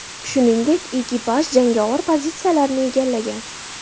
Shuningdek, ekipaj jangovar pozitsiyalarni egallagan.